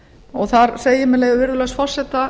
og þar segir með leyfi virðulegs forseta